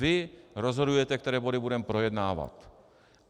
Vy rozhodujete, které body budeme projednávat.